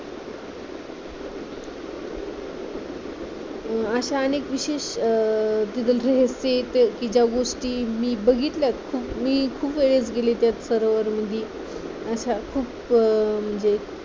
अशा अनेक विशेष रहस्य कि ज्या गोष्टी मी बघितल्यात मी खूप वेळेस गेली त्या सरोवर म्हणजे अशा खूप म्हणजे